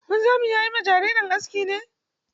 Wanzami na yi ma yaro aski ne?